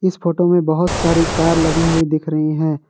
इस फोटो में बहोत सारी कार लगी हुई दिख रही है।